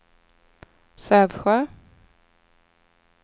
Sävsjö